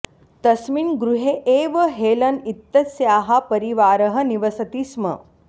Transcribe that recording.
तस्मिन् गृहे एव हेलन् इत्यस्याः परिवारः निवसति स्म